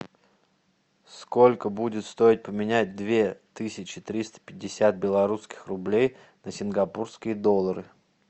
сколько будет стоить поменять две тысячи триста пятьдесят белорусских рублей на сингапурские доллары